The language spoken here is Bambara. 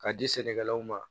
K'a di sɛnɛkɛlaw ma